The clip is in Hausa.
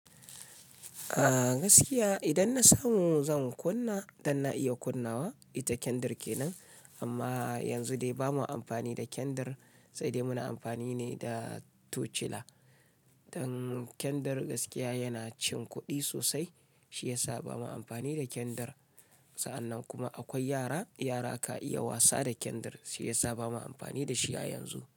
Ah gaskiya idan na samu zan kunna, dan na iya kunnawa ita kyandir kenan. Amma yanzu dai bamu amfani da kyandir, sai dai muna amfani ne da tocila. Dan kyandir gaskiya yana cin kuɗi sosai, shi ya sa bamu amfani da kyandir. Sa'an nan kuma akwai yara, yara ka iya wasa da kyandir, shi ya sa bamu amfani da shi a yanzu.